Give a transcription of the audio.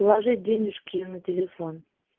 положить денежки на телефон